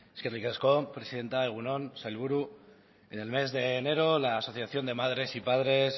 eskerrik asko presidente egun on sailburu en el mes de enero la asociación de madres y padres